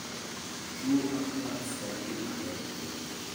Tuo anthrax en gima tek geng'o.